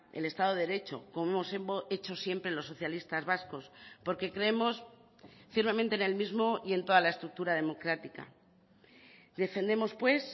el estado de derecho como hemos hecho siempre los socialistas vascos porque creemos firmemente en el mismo y en toda la estructura democrática defendemos pues